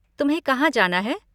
तुम्हें कहाँ जाना है?